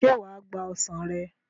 Ṣé wà á gba ọsàn rẹ̀?